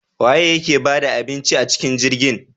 Waye yake bada abincin acikin jirgin?